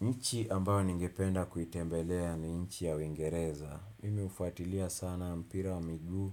Nchi ambayo ningependa kuitembelea ni nchi ya uingereza. Mimi hufatilia sana mpira wa miguu